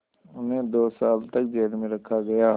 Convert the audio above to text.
उन्हें दो साल तक जेल में रखा गया